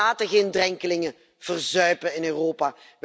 Wij laten geen drenkelingen verzuipen in Europa.